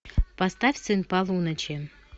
поставь сын полуночи